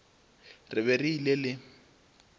re be re ile le